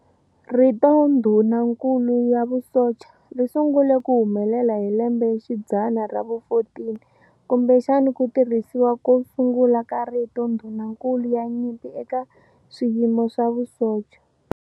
Rito "Ndhunankulu ya vusocha" ri sungule ku humelela hi lembexidzana ra vu-14, kumbexana ku tirhisiwa ko sungula ka rito ndhunankulu ya nyimpi eka swiyimo swa vusocha.